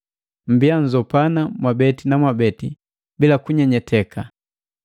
Mmbiya nnzopana mwabeti na mwabeti bila kunyenyeteka.